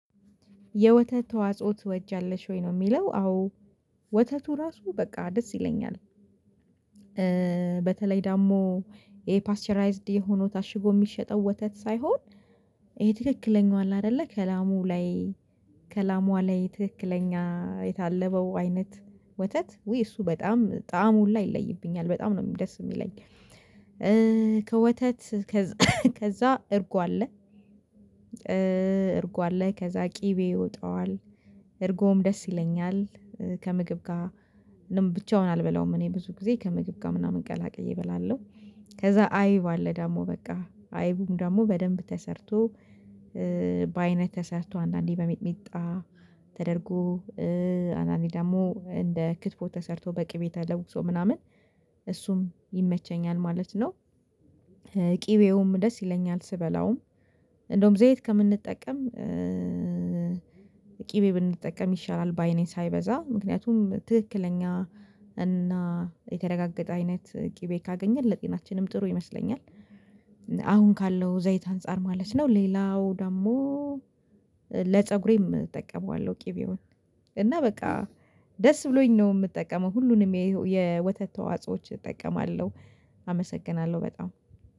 የወተት ተዋጽኦ ትወጃለሽ ወይ ነው የሚለው? አዎ ወተቱ ራሱ በቃ ደስ ይለኛል። እ በተለይ ደግሞ ይሄ ፓስቸራይዝድ የሆነው ታሽጎ ሚሸጠው ወተት ሳይሆን። ይሄ ትክክለኛ አለ አይደለ ከላሙ ላይ ከላሟ ላይ ትክክለኛ የታለበው አይነት ወተት ውይ እሱ በጣም ጣዕም ሁላ ይለይብኛል በጣም ነው ደስ የሚለኝ። እእ ከወተት ከዛ እርጓ አለ እእ እርጓ አለ ከዛ ቅቤ ይወጣዋል እርጎም ደስ ይለኛል። ከምግብ ጋ ብቻውን አልበላውም እኔ ብዙ ጊዜ ከምግብ ጋ ምናምን ቀላቅዬ እበላለሁ። ከዛ አይብ አለ ደሞ በቃ አይቡም ደሞ በደንብ ተሰርቶ እ በአይነት ተሰርቶ አንዳንዴ በሚጥሚጣ ተደርጎ እ አንዳንዴ ደግሞ እንደ ክትፎ ተሰርቶ በቅቤ ተለውሶ ምናምን እሱም ይመቸኛል ማለት ነው። እ ቅቤውም ደስ ይለኛል ስበላውም እንደውም ዘይት ከምንጠቀም እ ቅቤ ብንጠቀም ይሻላል ባይ ነኝ ሳይበዛ ምክንያቱም ትክክለኛ እና የተረጋገጠ አይነት ቅቤ ካገኘን ለጤናችንም ጥሩ ይመስለኛል። አሁን ካለው ዘይት አንፃር ማለት ነው። ሌላው ደግሞ እ ለፀጉሬም እጠቀመዋለሁ ቅቤውን እና በቃ ደስ ብሎኝ ነው ምጠቀመው ሁሉንም የወተት ተዋጾዎች እጠቀማለሁ። አመሰግናለሁ በጣም